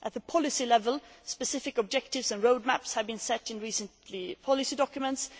At the policy level, specific objectives and road maps have been set in recent policy documents.